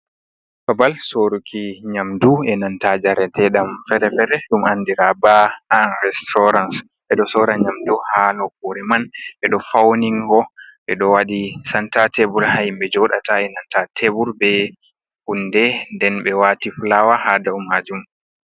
Babal soruki nyamdu e nanta jarete ɗam feere-feere ɗum andira ba an restaurans. Ɓe ɗo sora nyamdu haa nokure man, ɓe ɗo fauni go, ɓe ɗo waɗi santa tebur haa himɓe joɗata e nanta tebur be hunde, nden ɓe wati fulawa ha dow hajum.